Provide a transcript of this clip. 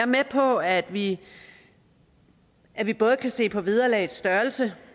med på at vi at vi både kan se på vederlagets størrelse